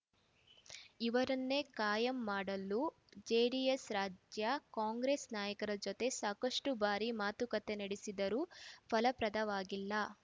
ಇವರನ್ನೇ ಕಾಯಂ ಮಾಡಲು ಜೆಡಿಎಸ್‌ ರಾಜ್ಯ ಕಾಂಗ್ರೆಸ್‌ ನಾಯಕರ ಜೊತೆ ಸಾಕಷ್ಟುಬಾರಿ ಮಾತುಕತೆ ನಡೆಸಿದ್ದರೂ ಫಲಪ್ರದವಾಗಿಲ್ಲ